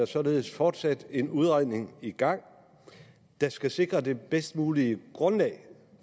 således fortsat er en udredning i gang der skal sikre det bedst mulige grundlag